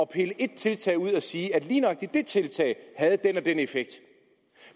pille et tiltag ud og sige at lige nøjagtig det tiltag havde den og den effekt